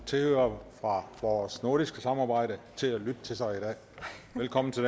tilhørere fra vores nordiske samarbejde til at lytte til sig i dag velkommen til